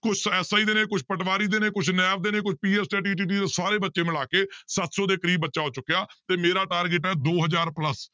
ਕੁਛ SI ਦੇ ਨੇ ਕੁਛ ਪਟਵਾਰੀ ਦੇ ਨੇ ਕੁਛ ਨੈਬ ਦੇ ਨੇ ਕੋਈ ਸਾਰੇ ਬੱਚੇ ਮਿਲਾ ਕੇ ਸੱਤ ਸੌ ਦੇ ਕਰੀਬ ਬੱਚਾ ਹੋ ਚੁੱਕਿਆ ਤੇ ਮੇਰਾ target ਹੈ ਦੋ ਹਜ਼ਾਰ plus